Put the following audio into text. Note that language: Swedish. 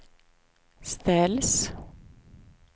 ställs